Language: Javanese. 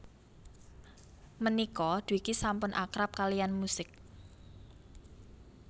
Mènika Dwiki sampun akrab kaliyann musik